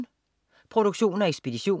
Produktion og ekspedition: